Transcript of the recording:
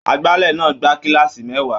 Agbálẹ̀ náà gba kílààsì mẹ́wàá.